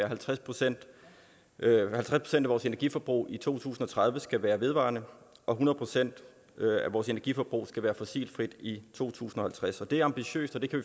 halvtreds procent af vores energiforbrug i to tusind og tredive skal være vedvarende og hundrede procent af vores energiforbrug skal være fossilfrit i to tusind og halvtreds det er ambitiøst og det kan